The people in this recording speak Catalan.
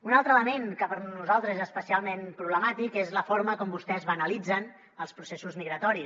un altre element que per nosaltres és especialment problemàtic és la forma com vostès banalitzen els processos migratoris